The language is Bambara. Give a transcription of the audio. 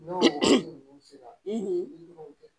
N'o sera i b'o kɛ